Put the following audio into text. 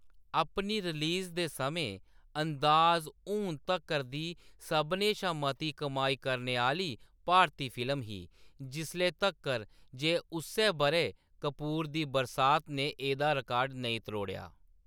अपनी रिलीज दे समें, 'अंदाज़' हून तक्कर दी सभनें शा मती कमाई करने आह्‌‌‌ली भारती फिल्म ही, जिसले तक्कर जे उस्सै बʼरै कपूर दी 'बरसात' ने एह्‌‌‌दा रिकार्ड नेईं त्रोड़ेआ।